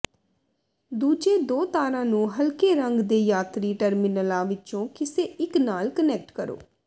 ਦੂਜੇ ਦੋ ਤਾਰਾਂ ਨੂੰ ਹਲਕੇ ਰੰਗ ਦੇ ਯਾਤਰੀ ਟਰਮੀਨਲਾਂ ਵਿੱਚੋਂ ਕਿਸੇ ਇੱਕ ਨਾਲ ਕਨੈਕਟ ਕਰੋ